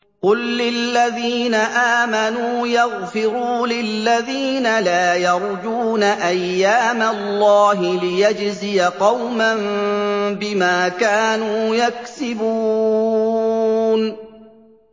قُل لِّلَّذِينَ آمَنُوا يَغْفِرُوا لِلَّذِينَ لَا يَرْجُونَ أَيَّامَ اللَّهِ لِيَجْزِيَ قَوْمًا بِمَا كَانُوا يَكْسِبُونَ